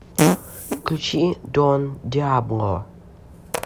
включи дон диабло